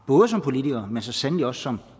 både som politiker og så sandelig også som